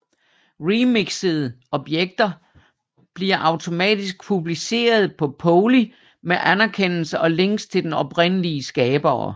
Remixede objekter bliver automatisk publiceret på Poly med anerkendelse og links til den oprindelige skabere